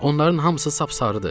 Onların hamısı sap sarıdır.